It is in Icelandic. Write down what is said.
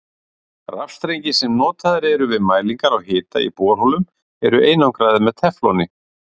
Rafstrengir sem notaðir eru við mælingar á hita í borholum eru einangraðir með tefloni.